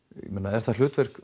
ég meina er það hlutverk